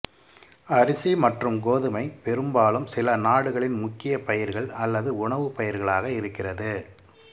அரிசி மற்றும் கோதுமை பெரும்பாலும் சில நாடுகளின் முக்கிய பயிர்கள் அல்லது உணவு பயிர்களாக இருக்கிறது